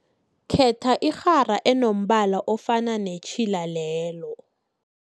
Khetha irhara enombala ofana netjhila lelo.